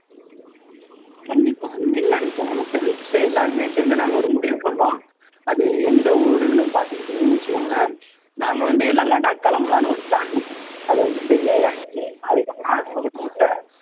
கண்டிப்பா என்ன நினைச்சோம்னா friends எல்லாருமே சேர்ந்து நாங்க ஒரு முடிவு பண்ணோம் அது எந்த ஊருன்னு பாத்துக்கிட்டீங்கன்னு வச்சுக்கோங்களே நாங்க வந்து எல்லாம் லடாக் கிளம்பலாம்ன்னு ஒரு plan பண்ணோம் அது வந்து failure ஆயிடுச்சு அதுக்கப்புறம்